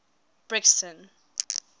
brixton